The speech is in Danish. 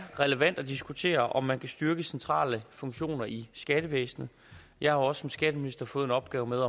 relevant at diskutere om man kan styrke centrale funktioner i skattevæsenet jeg har også som skatteminister fået en opgave med